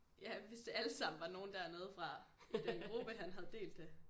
Ja hvis det alle sammen var nogen dernede fra i den gruppe han havde delt det